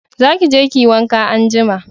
Za ki je ki yi wanka anjima